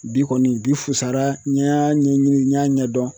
Bi kɔni bi fusara n y'a ɲɛɲini n y'a ɲɛdɔn.